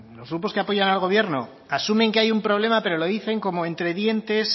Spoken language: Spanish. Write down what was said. los grupos que apoyan al gobierno asumen que hay un problema pero lo dicen como entre dientes